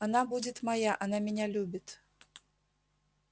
она будет моя она меня любит